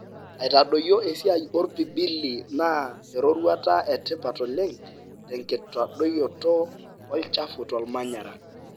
aitadoyio esiai orpibili na eroruata etipat oleng tenkitadoyioto olchafu tolmanyara.